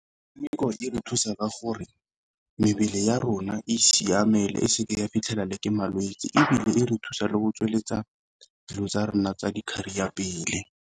Metshameko e re thusa ka gore mebele ya rona e siame le e seke ya fitlhela le ke malwetse, ebile e re thusa le go tsweletsa dilo tsa rona tsa career pele.